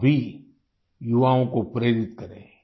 आप भी युवाओं को प्रेरित करें